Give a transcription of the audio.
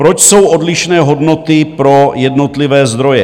Proč jsou odlišné hodnoty pro jednotlivé zdroje?